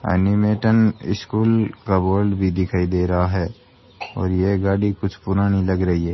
एनिमेटेन school का बोर्ड भी दिखाई दे रहा है और ये गाड़ी कुछ पुरानी लग रही है।